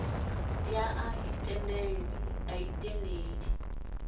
ya a a i tendeli